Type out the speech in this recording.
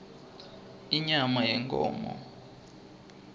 inyama yenkhomo